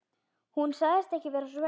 Hún sagðist ekki vera svöng.